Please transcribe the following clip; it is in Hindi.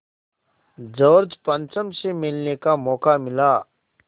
जॉर्ज पंचम से मिलने का मौक़ा मिला